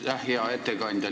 Aitäh, hea ettekandja!